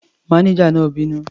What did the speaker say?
Mánéjà náà bínú.